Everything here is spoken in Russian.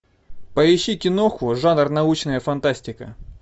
поищи киноху жанр научная фантастика